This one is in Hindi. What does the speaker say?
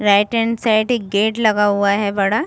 राइट हैंड साइड एक गेट लगा हुआ है बड़ा --